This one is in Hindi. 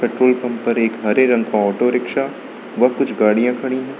पेट्रोल पंप पर एक हरे रंग का ऑटो रिक्शा व कुछ गाड़ियां खड़ी हैं।